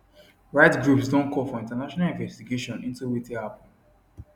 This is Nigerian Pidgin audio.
rights groups don call for international investigation into wetin happun